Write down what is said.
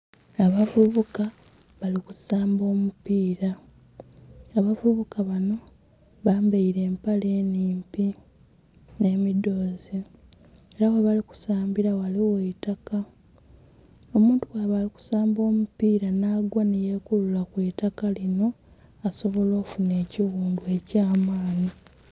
Abavubuka bali ku samba omupiira, abavubuka banho bambaile empale nnhimpi nh'emidhoozi nga ela ghe bali kusambila ghaligho eitaka. Omuntu bwaba ali kusamba omupiira nh'aghwa nhi yekulula ku itaka linho asobola okufuna ekighundhu eky'amaanhi.